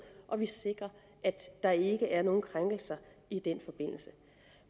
og vi sikrer at der ikke er nogen krænkelser i den forbindelse